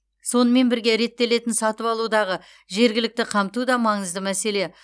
сонымен бірге реттелетін сатып алудағы жергілікті қамту да маңызды мәселе